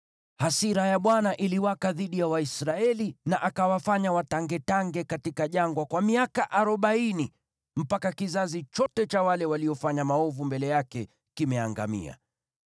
Hasira ya Bwana iliwaka dhidi ya Waisraeli na akawafanya watangetange katika jangwa kwa miaka arobaini, mpaka kizazi chote cha wale waliofanya maovu mbele yake kimeangamia.